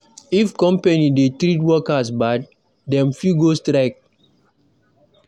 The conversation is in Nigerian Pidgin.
If company dey treat workers bad, dem fit go strike.